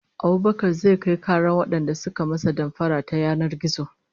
Abubakar zai kai karar wadanda suka masa damfara ta yanar gizo